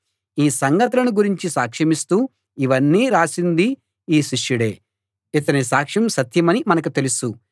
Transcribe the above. ఈ సంగతులను గురించి సాక్షమిస్తూ ఇవన్నీ రాసింది ఈ శిష్యుడే ఇతని సాక్ష్యం సత్యమని మనకు తెలుసు